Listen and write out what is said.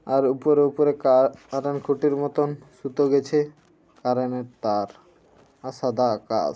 আর উপরে উপরে কার কারণ কুটির মতন সুতো গেছে কারেন এর তার আর সাদা আকাশ।